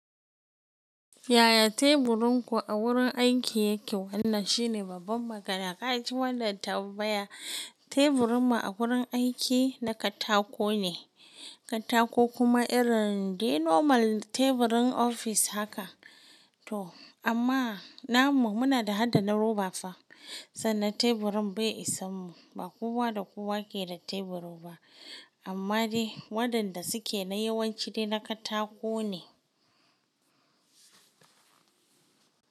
Yaya teburin ku a wurin aiki yake? Wannan shine babban magana. Ka ji wannan tambaya. Teburinmu a wurin aiki na katako ne, katako kuma irin dai normal teburin ofis haka. To amma namu muna da hada na roba fa, sannan teburin bai isa mu, ba kowa da kowa ke da tebur ba. Amma dai waɗanda suke na yawanci dai na katako ne.